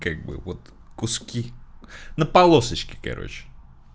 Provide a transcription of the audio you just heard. как бы вот куски на полосочке короче